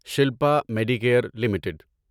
Shilpa Medicare limited